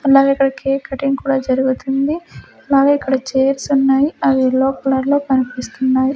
అలాగే ఇక్కడ cake cutting కూడా జరుగుతుంది అలాగే ఇక్కడ చెర్స్ ఉన్నాయి అవి యెల్లో కలర్ లో కన్పిస్తున్నాయి .